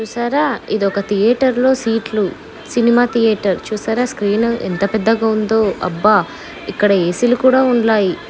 చూసారా. ఇదొక థియేటర్ లో సీట్ లు సినిమా థియేటర్ చూసారా స్క్రీన్ ఎంత పెద్దగా ఉందో అబ్బా ఇక్కడ ఏ_సీ లు కూడా ఉన్నాయి.